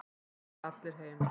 Þá fara allir heim.